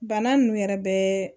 Bana nunnu yɛrɛ bɛ